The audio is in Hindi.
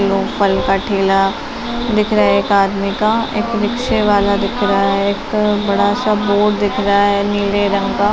लो फल का ठेला दिख रहा है एक आदमी का। एक रिक्शे वाला दिख रहा है। एक बड़ा सा बोर्ड दिख रहा है नीला रंग का।